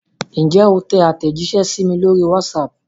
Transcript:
Ǹjẹ́ o tẹ àtẹ̀jíṣẹ́ sí mi lórí WhatsApp?